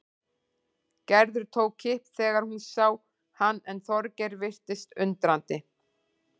Gerður tók kipp þegar hún sá hann en Þorgeir virtist undrandi.